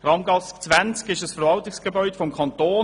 Die Kramgasse 20 ist ein Verwaltungsgebäude des Kantons.